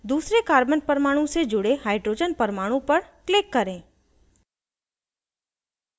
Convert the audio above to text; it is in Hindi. दूसरे carbon परमाणु से जुड़े hydrogen परमाणु पर click करें